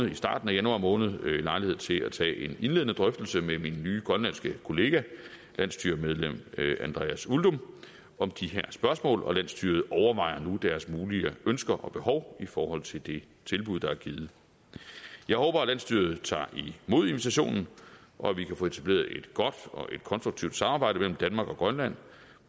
i starten af januar måned lejlighed til at tage en indledende drøftelse med min nye grønlandske kollega landsstyremedlem andreas uldum om de her spørgsmål og landsstyret overvejer nu deres mulige ønsker og behov i forhold til det tilbud der er givet jeg håber at landsstyret tager imod invitationen og at vi kan få etableret et godt og konstruktivt samarbejde mellem danmark og grønland